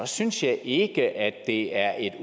synes jeg ikke at det er et